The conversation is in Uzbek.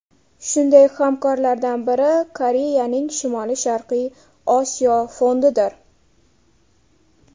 Shunday hamkorlardan biri Koreyaning Shimoli-Sharqiy Osiyo fondidir.